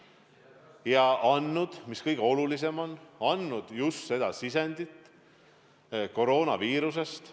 Nad on andnud – ja see on kõige olulisem – just seda sisendit, mis puudutab koroonaviirust.